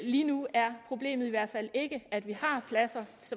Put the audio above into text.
lige nu er problemet i hvert fald ikke at vi har pladser